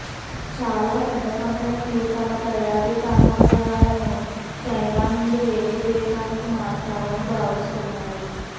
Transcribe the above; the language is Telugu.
చాలా పెద్ద కంపెనీలు తమ తయారీ కర్మాగారాలను చైనా నుండి వేరే దేశానికి మార్చాలని భావిస్తున్నాయి